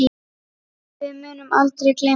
Við munum aldrei gleyma þessu.